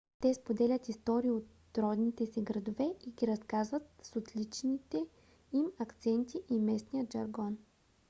те споделят истории от родните си градове и ги разказват с отличителните им акценти и местния жаргон